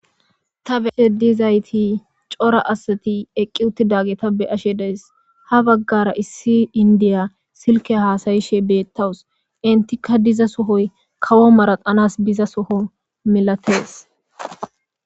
ta beeshe dizayti cora asati eqqi uttidage ta be ashe dees ha baggara issi indiya silke haasayishe beettawus intika diza sohoy kawo maraxanas biza soho milatees